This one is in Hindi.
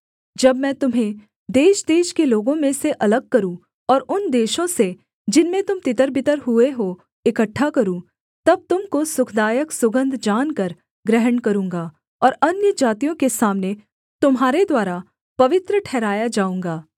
जब मैं तुम्हें देशदेश के लोगों में से अलग करूँ और उन देशों से जिनमें तुम तितरबितर हुए हो इकट्ठा करूँ तब तुम को सुखदायक सुगन्ध जानकर ग्रहण करूँगा और अन्यजातियों के सामने तुम्हारे द्वारा पवित्र ठहराया जाऊँगा